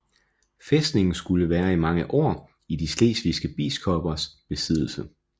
Fæstningen skulle være i mange år i de slesvigske biskoppers besiddelse